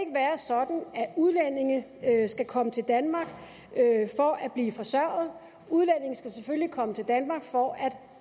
at at udlændinge skal komme til danmark for at blive forsørget udlændinge skal selvfølgelig komme til danmark for at